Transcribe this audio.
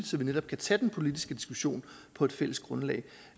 så vi netop kan tage den politiske diskussion på et fælles grundlag